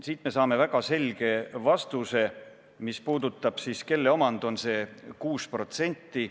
" Siit me saame väga selge vastuse, mis puudutab seda, kelle omand on see 6%.